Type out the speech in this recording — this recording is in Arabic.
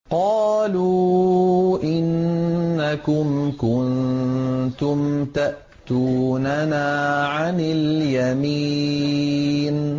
قَالُوا إِنَّكُمْ كُنتُمْ تَأْتُونَنَا عَنِ الْيَمِينِ